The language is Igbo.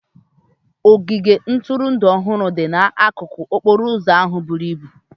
Ogige ntụrụndụ ọhụrụ dị n'akụkụ okporo ụzọ ahụ buru ibu.